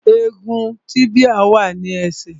Egun tíbíà wà ní ẹsẹ̀